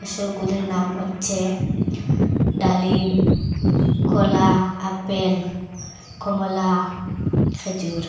সেগুলির নাম হচ্ছে ডালিম কলা আপেল কমলা খেজুর।